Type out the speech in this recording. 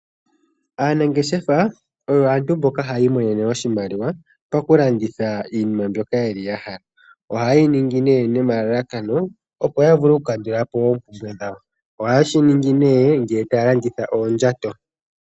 Aanangeshefa oyo aantu mboka haya imonene oshimaliwa pa ku landitha iinima mbyoka yeli ya hala . Oha ye yi ningi nee nomalalakano opo ya vule oku kandula po oompumbwe dhawo. Oha yeshi ningi nee nge taya landitha oondjato .